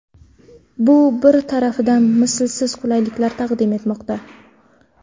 Bu bir tarafdan mislsiz qulayliklar taqdim etmoqda.